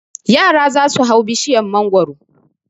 Yara za su hau bishiyar mangwaro.